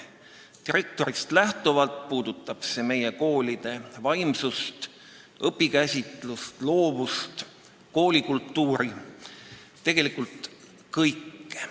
Direktorist lähtuvalt puudutab see meie koolide vaimsust, õpikäsitlust, loovust, koolikultuuri – tegelikult kõike.